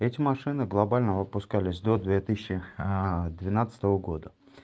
эти машины глобально выпускались до две тысячи двенадцатого года года